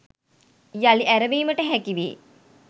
යළි ඇරඹීමට හැකි වේ